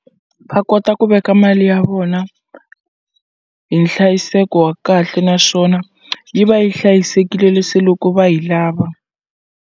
Va kota ku veka mali ya vona hi nhlayiseko wa kahle naswona yi va yi hlayisekile loko va yi lava.